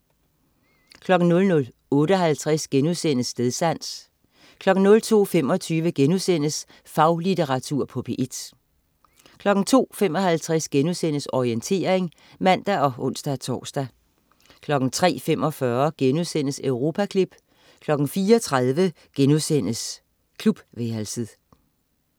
00.58 Stedsans* 02.25 Faglitteratur på P1* 02.55 Orientering* (man og ons-tors) 03.45 Europaklip* 04.30 Klubværelset*